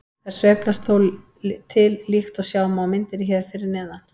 Þær sveiflast þó til líkt og sjá má á myndinni hér fyrir neðan.